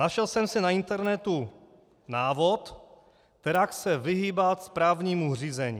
Našel jsem si na internetu návod, kterak se vyhýbat správnímu řízení.